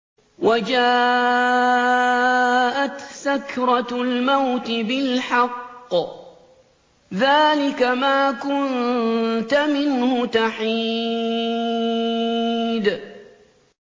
وَجَاءَتْ سَكْرَةُ الْمَوْتِ بِالْحَقِّ ۖ ذَٰلِكَ مَا كُنتَ مِنْهُ تَحِيدُ